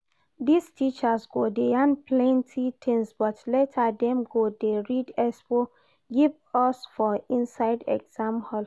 This teachers go dey yan plenty things but later dem go dey read expo give us for inside exam hall